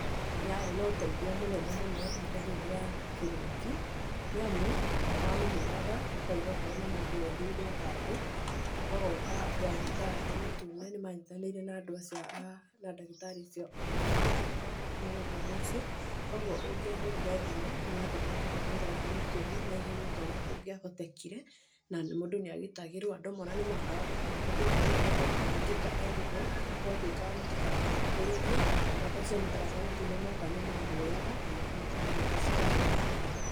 Nĩ yarĩ na ũteithio mũnene mũno ihinda rĩu rĩa kĩng'uki nĩ amu, nĩwamĩhũraga ũkauga okorwo nĩ mũndũ wĩhĩirwo handũ magoka andũ a mũtharaba mũtune nĩmanyitanĩire na ndagĩtarĩ acio mathodekaga mũrimũ ũcio, koguo ũngĩahũrire thimũ nĩmatũmaga andũ a mũtharaba mũtune na ihenya o ta ũrĩa kũngĩahotekire na mũndũ nĩagitagĩrwo andũ amwe ona nĩmagaga gũkua tondũ hĩndĩ ĩrĩa mũndũ aringĩka erigwo gwatuĩkaga mũtikamũkuhĩrĩrie no andũ acio a mũtharaba mũtune moka nĩ mamuoyaga na makamũteng'eria thibitarĩ naihenya.